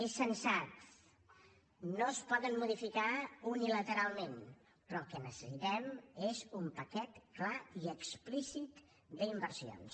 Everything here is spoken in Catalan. és sensat no es poden modificar unilateralment però el que necessitem és un paquet clar i explícit d’inversions